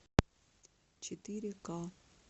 четыре ка